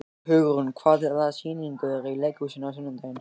Hugrún, hvaða sýningar eru í leikhúsinu á sunnudaginn?